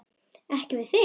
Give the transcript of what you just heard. Ekki við þig.